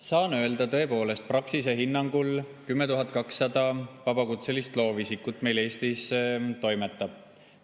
Saan öelda, tõepoolest, et Praxise hinnangul 10 200 vabakutselist loovisikut meil Eestis toimetab.